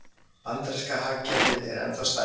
Bandaríska hagkerfið er ennþá stærst